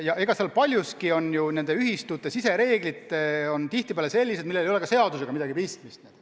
Ja paljuski on nende ühistute sisereeglid sellised, millel ei ole seadusega midagi pistmist.